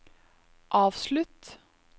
avslutt